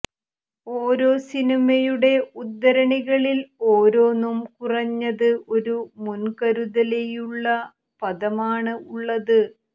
ഓരോ സിനിമയുടെ ഉദ്ധരണികളിൽ ഓരോന്നും കുറഞ്ഞത് ഒരു മുൻകരുതലിയുള്ള പദമാണ് ഉള്ളത്